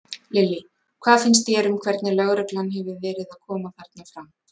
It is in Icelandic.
Lillý: Hvað finnst þér um hvernig lögreglan hefur verið að koma þarna fram?